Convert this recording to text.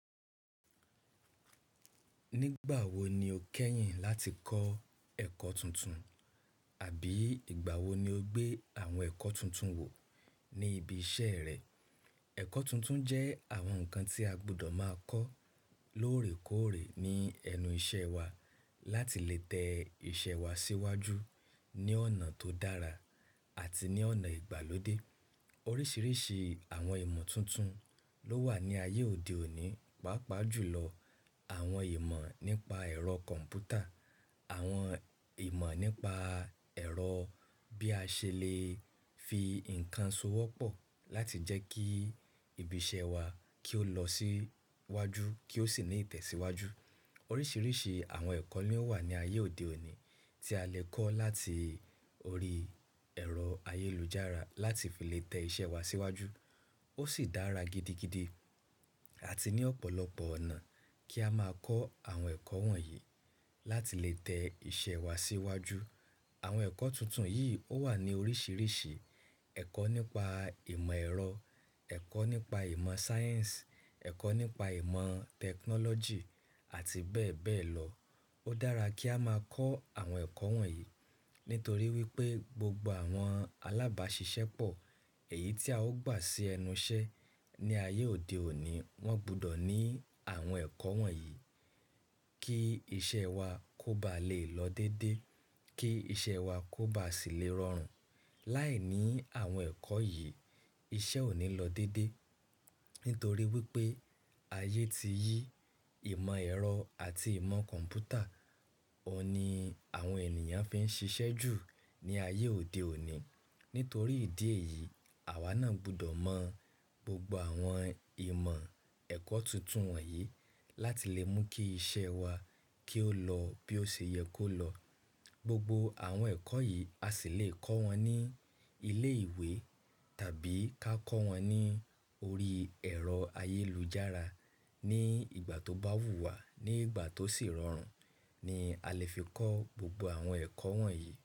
Nígbàwo ni o kẹ́yìn láti kọ́ ẹ̀kọ́ tuntun àbí ìgbàwo ni o gbé àwọn ẹ̀kọ́ tuntun wò ní ibi iṣẹ́ rẹ? Ẹ̀kọ́ tuntun jẹ́ àwọn nǹkan tí a gbudọ̀ máa kọ́ lóòrèkóòrè ní ẹnu iṣẹ́ wa láti lè tẹ iṣẹ́ wa síwájú ní ọ̀nà tó dára àti ní ọ̀nà ìgbàlódé. Oríṣiiríṣii àwọn ìmọ̀ tuntun ló wà ní ayé òde òní, pàápàá jù lọ àwọn ìmọ̀ nípa ẹ̀rọ kọ̀m̀pútà, àwọn ìmọ̀ nípa ẹ̀rọ bí a ṣe lè fi nǹkan so wọ́pọ̀ láti jẹ́ kí ibi iṣẹ́ wa kí ó lọ síwájú kí ó sì ní ìtẹ̀síwájú. Oríṣiríṣi àwọn ẹ̀kọ́ ni ó wà ní ayé òde òní tí a lè kọ́ láti orí ẹ̀rọ ayélujára láti fi lè tẹ iṣẹ́ wa síwájú. Ó sì dára gidigidi àti ní ọ̀pọ̀lọpọ̀ ọ̀nà kí a máa kọ́ àwọn ẹ̀kọ́ wọ̀nyí láti lè tẹ iṣẹ́ wa síwájú. Àwọn ẹ̀kọ́ tuntun yìí ó wà ní oríṣiiríṣii ẹ̀kọ́ nípa ìmọ̀ ẹ̀rọ, ẹ̀kọ́ nípa ìmọ̀ sáyẹ̀nsì, ẹ̀kọ́ nípa ìmọ̀ tẹkinọ́lọ́jì àti bẹ́ẹ̀ bẹ́ẹ̀ lọ. Ó dára kí a máa kọ́ àwọn ẹ̀kọ́ wọ̀nyí nítorí wípé gbogbo àwọn alábàáṣiṣẹ́pọ̀ èyí tí a ó gbà sí ẹnu iṣẹ́ ní ayé òde òní, wọ́n gbudọ̀ ní àwọn ẹ̀kọ́ wọ̀nyí kí iṣẹ́ wa kó ba lè lọ dédé, kí iṣẹ́ wa kó ba sì lè rọrùn. Láìní àwọn ẹ̀kọ́ yìí iṣẹ́ ò ní lọ dédé nítorí wípé ayé ti yí ìmọ̀ ẹ̀rọ àti ìmọ̀ kọ̀m̀pútà ọ n ni àwọn ènìyàn fi ń ṣiṣẹ́ jù ní ayé òde òní. Nítorí ìdí èyí àwa náà gbudọ̀ mọ̀ gbogbo àwọn ìmọ̀ ẹ̀kọ́ tuntun wọ̀nyí láti lè mú kí iṣẹ́ wa kí ó lọ bí ó ṣe yẹ kó lọ. Gbogbo àwọn ẹ̀kọ́ yìí a sì lè kọ́ wọn ní ilé ìwé tàbí ká kọ́ wọn ní orí ẹ̀rọ ayélujára ní ìgbà tó bá wù wá ní ìgbà tó sì rọrùn ni a lè fi kọ́ gbogbo àwọn ẹ̀kọ́ wọ̀nyí.